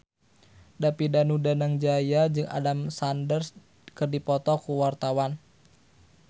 David Danu Danangjaya jeung Adam Sandler keur dipoto ku wartawan